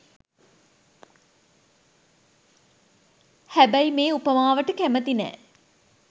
හැබැයි මේ උපමාවට කැමති නෑ.